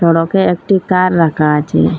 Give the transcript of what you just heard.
সড়কে একটি কার রাখা আছে।